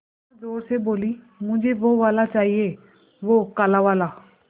अम्मा ज़ोर से बोलीं मुझे वो वाला चाहिए वो काला वाला